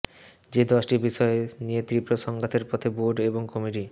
যে দশটি বিষয় নিয়ে তীব্র সংঘাতের পথে বোর্ড এবং কমিটি